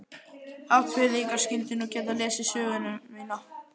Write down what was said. Hafnfirðingar skyldu nú geta lesið söguna mína.